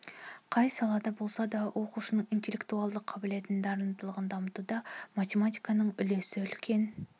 қай салада болса да оқушының интеллектуалды қабілетін дарындылығын дамытуда математиканың үлесі үлкен